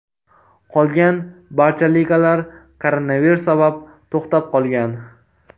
Qolgan barcha ligalar koronavirus sabab to‘xtab qolgan.